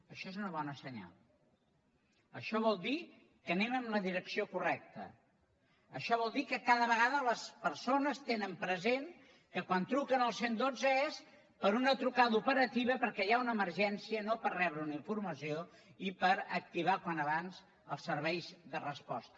això és una bona senyal això vol dir que anem en la direcció correcta això vol dir que cada vegada les persones tenen present que quan truquen al cent i dotze és per una trucada operativa perquè hi ha una emergència no per rebre una informació i per activar com abans millor els serveis de resposta